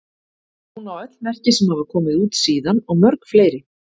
Hún á öll merki sem hafa komið út síðan og mörg fleiri.